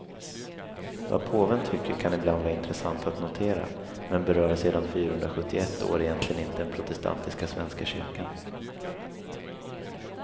Vad påven tycker kan ibland vara intressant att notera, men berör sen fyrahundrasjuttioett år egentligen inte den protestantiska svenska kyrkan.